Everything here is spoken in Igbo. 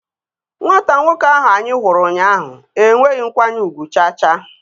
Nwata nwoke ahụ anyị hụrụ ụnyaahụ enweghị nkwanye ugwu cha cha